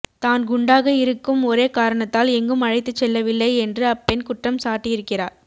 தான் குண்டாக இருக்கும் ஒரே காரணத்தால் எங்கும் அழைத்துச் செல்லவில்லை என்று அப்பெண் குற்றம் சாட்டியிருக்கிறார்